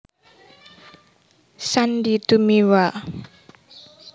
Sandy Tumiwa